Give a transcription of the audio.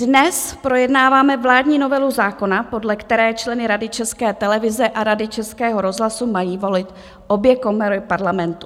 Dnes projednáváme vládní novelu zákona, podle které členy Rady České televize a Rady Českého rozhlasu mají volit obě komory Parlamentu.